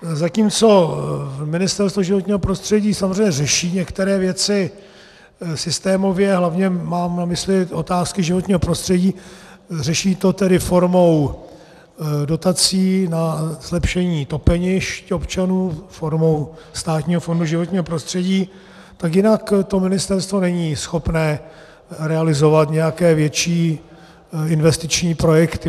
Zatímco Ministerstvo životního prostředí samozřejmě řeší některé věci systémově, hlavně mám na mysli otázky životního prostředí, řeší to tedy formou dotací na zlepšení topenišť občanů formou Státního fondu životního prostředí, tak jinak to ministerstvo není schopné realizovat nějaké větší investiční projekty.